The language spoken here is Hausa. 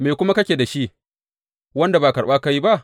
Me kuma kake da shi, wanda ba karɓa ka yi ba?